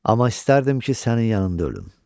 Amma istərdim ki, sənin yanında ölüm.